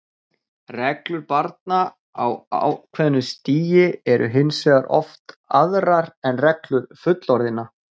Reglur barna á ákveðnu stigi eru hins vegar oft aðrar en reglur fullorðinna.